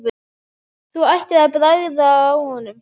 Þú ættir að bragða á honum